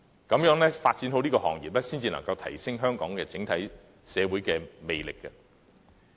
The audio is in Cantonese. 行業發展良好，才有助提升香港整體社會的魅力。